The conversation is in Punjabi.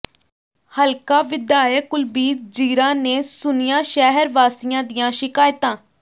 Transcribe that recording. ਹਲਕਾ ਵਿਧਾਇਕ ਕੁਲਬੀਰ ਜ਼ੀਰਾ ਨੇ ਸੁਣੀਆਂ ਸ਼ਹਿਰ ਵਾਸੀਆਂ ਦੀਆਂ ਸ਼ਿਕਾਇਤਾਂ